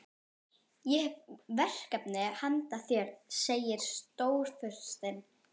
Ég hef verkefni handa þér segir Stórfurstinn.